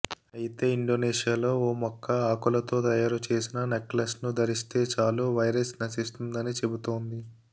అయితే ఇండోనేషియాలో ఓ మొక్క ఆకులతో తయారు చేసిన నెక్లెస్ను ధరిస్తే చాలు వైరస్ నశిస్తుందని చెబుతోంది